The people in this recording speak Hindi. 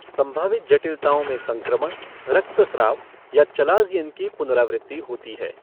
संभावित जटिलताओं में संक्रमण, रक्तस्राव या चालाज़ियन की पुनरावृत्ति होती है।